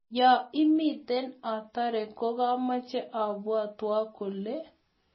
yoo lmite otore kogameche abwatwok kole